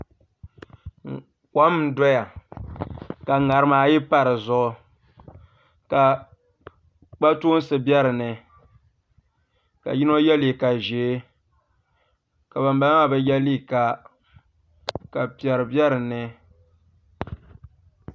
kom n doya ka ŋarima ayi pa di zuɣu ka kpatoonsi be dinni ka yino ye liiga ʒee ka ban bala maa bi ye liiga ka piɛri be dinni